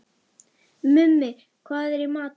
Mummi, hvað er í matinn?